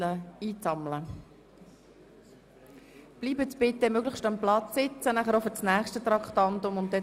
Ich mache Sie darauf aufmerksam, dass wir am Montag einen Ordnungsantrag zur achten Wahl genehmigt haben.